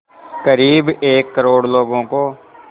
क़रीब एक करोड़ लोगों को